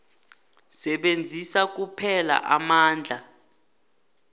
sebenzisa kuphela amandla